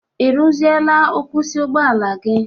Ị rụziela nkwusi ụgbọala gi?